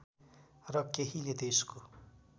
र केहीले त्यसको